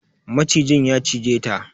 Macijin ya cize ta.